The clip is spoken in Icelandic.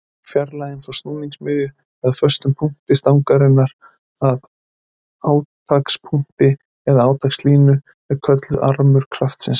Fjarlægðin frá snúningsmiðju eða föstum punkti stangarinnar að átakspunkti eða átakslínu er kölluð armur kraftsins.